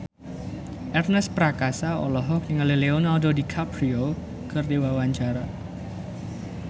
Ernest Prakasa olohok ningali Leonardo DiCaprio keur diwawancara